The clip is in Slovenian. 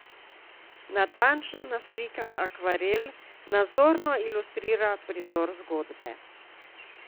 Natančno naslikan akvarel nazorno ilustrira prizor zgodbe.